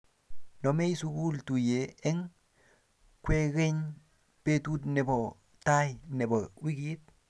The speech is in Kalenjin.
Nomei sukul tuyee eng kwekeny betut ne bo tai ne bo wikit.